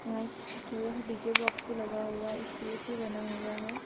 यहा एक छोटा सा डी_जे बाक्स भी लगा हुआ है इस्टेज भी बना हुआ है।